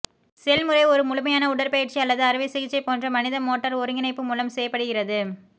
செயல்முறை ஒரு முழுமையான உடற்பயிற்சி அல்லது அறுவை சிகிச்சை போன்ற மனித மோட்டார் ஒருங்கிணைப்பு மூலம் செய்யப்படுகிறது